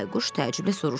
Bayquş təəccüblə soruşdu.